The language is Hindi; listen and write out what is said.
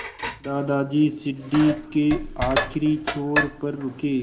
दादाजी सीढ़ी के आखिरी छोर पर रुके